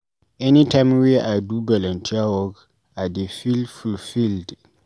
Anytime wey I do volunteer work, I dey feel fulfiled.